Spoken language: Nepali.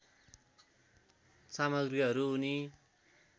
सामग्रीहरू उनी